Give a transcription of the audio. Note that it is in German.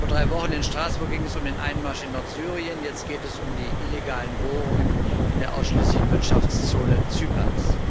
Vor drei Wochen in Straßburg ging es um den Einmarsch in Nordsyrien, jetzt geht es um die illegalen Bohrungen in der ausschließlichen Wirtschaftszone Zyperns.